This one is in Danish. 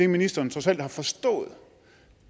ministeren trods alt har forstået